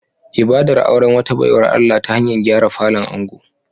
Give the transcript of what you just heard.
Ibadar auren wata baiwar Allah ta hanyar gyara falon ango